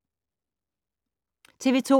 TV 2